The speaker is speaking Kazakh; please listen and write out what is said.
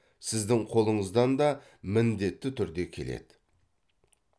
сіздің қолыңыздан да міндетті түрде келеді